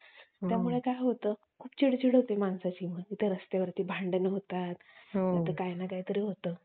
हम्म सारखं कि मी तुला call करतो call सारखं तिला call वरती करून बोलत असतो त्यानंतर पण त्या serial मध्ये असं दाखवलेलं कि हम्म तिला ती शांत असती